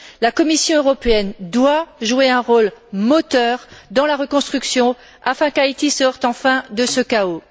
La Commission européenne doit jouer un rôle moteur dans la reconstruction afin qu'Haïti sorte enfin de ce chaos.